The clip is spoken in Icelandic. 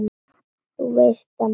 Þú veist það, mamma.